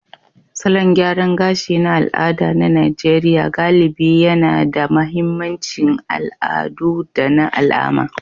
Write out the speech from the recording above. Salon gyaran gashi na al'ada na Najeriya galibi yAna da mahimmancin al'adu da na alama